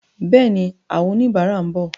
Bẹ́ẹ̀ni, àwọn oníbàárà ń bọ̀.